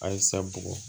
Ayisa bugɔ